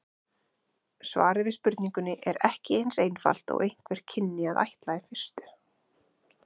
Svarið við spurningunni er ekki eins einfalt og einhver kynni að ætla í fyrstu.